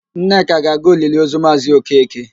Nneka ga-aga oliliozu Maazị Okeke.